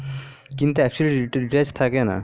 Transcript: কিন্ত actually reels থাকে না